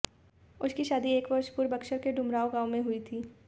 उसकी शादी एक वर्ष पूर्व बक्सर के डुमरांव में हुई थी